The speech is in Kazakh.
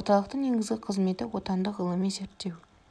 орталықтың негізгі қызметі отандық ғылыми-зерттеу